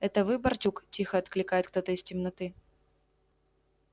это вы барчук тихо окликает кто-то из темноты